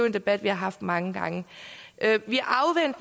en debat vi har haft mange gange vi